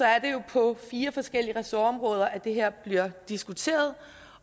er det jo på fire forskellige ressortområder at det her bliver diskuteret